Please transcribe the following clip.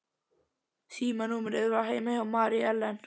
Símanúmerið var heima hjá Mary Ellen.